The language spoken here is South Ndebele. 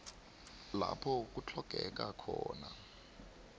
lapho kutlhogeka khona